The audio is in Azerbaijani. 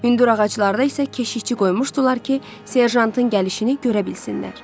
Hündür ağaclarda isə keşiyçi qoymuşdular ki, serjantın gəlişini görə bilsinlər.